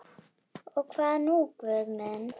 Og hvað nú Guð minn?